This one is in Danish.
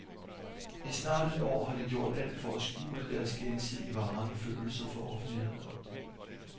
I snart et år har de gjort alt for at skjule deres gensidige varme følelser for offentligheden.